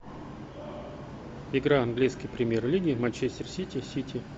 игра английской премьер лиги манчестер сити сити